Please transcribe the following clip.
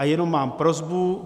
A jenom mám prosbu.